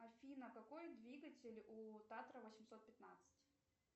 афина какой двигатель у татра восемьсот пятнадцать